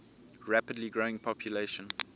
rapidly growing population